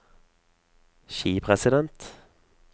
skipresident